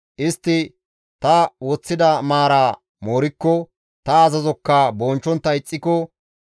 istti ta woththida maara moorikko, ta azazokka bonchchontta ixxiko,